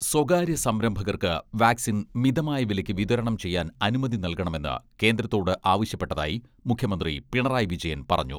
സ്വകാര്യ സംരംഭകർക്ക് വാക്സിൻ മിതമായ വിലയ്ക്ക് വിതരണം ചെയ്യാൻ അനുമതി നൽകണമെന്ന് കേന്ദ്രത്തോട് ആവശ്യപ്പെട്ടതായി മുഖ്യമന്ത്രി പിണറായി വിജയൻ പറഞ്ഞു.